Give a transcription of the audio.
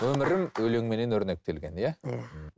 өмірің өлеңменен өрнектелген иә иә